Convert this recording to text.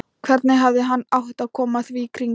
Hvernig hefði hann átt að koma því í kring?